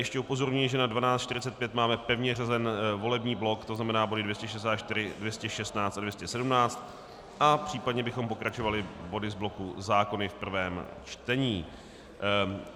Ještě upozorňuji, že na 12.45 máme pevně řazen volební blok, to znamená body 264, 216 a 217, a případně bychom pokračovali body z bloku zákony v prvém čtení.